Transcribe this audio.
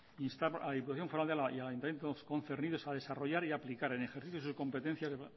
instamos a la diputación foral de álava y al ayuntamiento concernidos a desarrollar y a aplicar en el ejercicio de sus competencias de